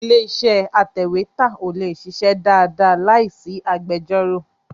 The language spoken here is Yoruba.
Ilé-iṣẹ́ atẹ̀wétà ò lè ṣiṣẹ́ dáadáa láì sí agbẹjọ́rò.